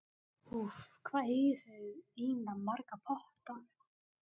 Úff, hvað eigið þið eiginlega marga potta?